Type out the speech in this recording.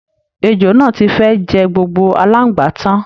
Èjò náà ti fẹ́ẹ̀ jẹ gbogbo aláǹgbá tán